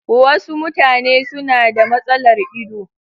Wasu mutane suna da matsalar ido.